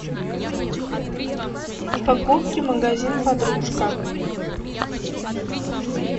покупки магазин подружка